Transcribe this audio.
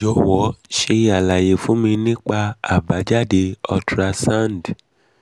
jọwọ ṣe alaye fun mi nipa abajade ultra sound four d mi mi